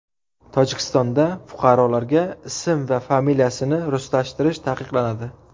Tojikistonda fuqarolarga ism va familiyasini ruslashtirish taqiqlanadi.